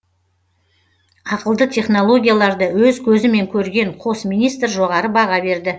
ақылды технологияларды өз көзімен көрген қос министр жоғары баға берді